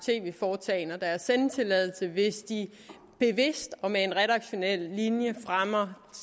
tv foretagender deres sendetilladelse hvis de bevidst og med en redaktionel linje fremmer